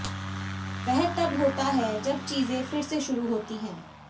वह तब होता है जब चीजें फिर से शुरू होती हैं